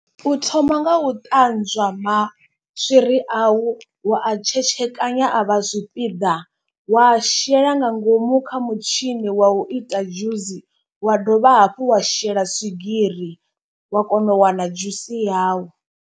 U thoma nga u ṱanzwa maswiri au wa a tshetshekanya a vha zwipiḓa wa shela nga ngomu kha mutshini wa u ita dzhusi. Wa dovha hafhu wa shela swigiri wa kona u wana dzhusi yau.